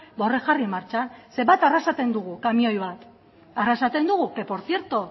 horiek jarri martxan bat arrasaten dugu kamioi bat que por cierto